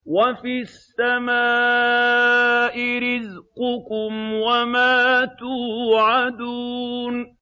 وَفِي السَّمَاءِ رِزْقُكُمْ وَمَا تُوعَدُونَ